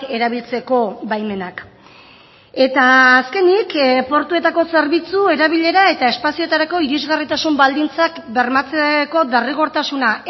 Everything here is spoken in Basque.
erabiltzeko baimenak eta azkenik portuetako zerbitzu erabilera eta espazioetarako irisgarritasun baldintzak bermatzeko derrigortasuna